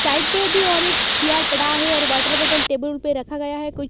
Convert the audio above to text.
site पे अभी और एक चेयर पड़ा है और वाटर बॉटल टेबल पे रखा गया है कोई--